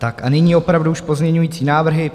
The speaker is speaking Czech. Tak a nyní opravdu už pozměňovací návrhy.